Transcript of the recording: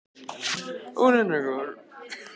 Hún er næringarforði og auk þess veitir hún skjól.